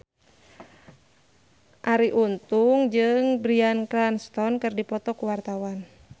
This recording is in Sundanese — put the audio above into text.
Arie Untung jeung Bryan Cranston keur dipoto ku wartawan